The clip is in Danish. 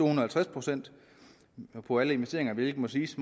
og halvtreds procent på alle investeringer hvilket må siges